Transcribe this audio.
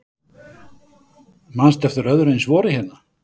Manstu eftir öðru eins vori hérna?